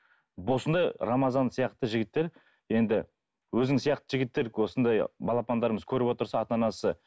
рамазан сияқты жігіттер енді өзің сияқты жігіттер осындай балапандарымыз көріп отырса ата анасы